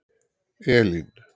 Elín